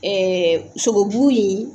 sogobu in ye